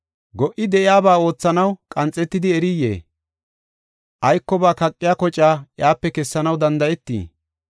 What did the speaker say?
Go77i de7iya ba oothanaw qanxetidi eriyee? Aykoba kaqiya kocaa iyape kessanaw danda7eetii?